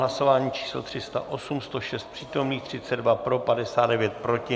Hlasování číslo 308, 106 přítomných, 32 pro, 59 proti.